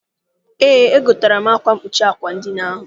Eé, egotere m akwa mkpuchi àkwà edina ahụ.